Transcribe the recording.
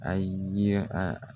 A ye a